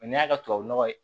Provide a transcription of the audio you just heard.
O y'a ka tubabu nɔgɔ ye